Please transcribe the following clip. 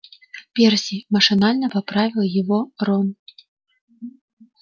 перси машинально поправил его рон